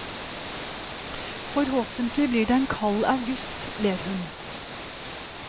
Forhåpentlig blir det en kald august, ler hun.